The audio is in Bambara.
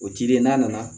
O cili n'a nana